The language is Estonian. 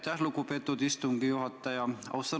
Aitäh, lugupeetud istungi juhataja!